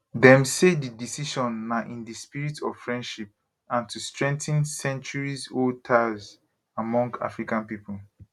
dem say di decision na in di spirit of friendship and to strengthen centuriesold ties among african people